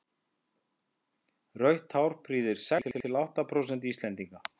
rautt hár prýðir sex til átta prósent íslendinga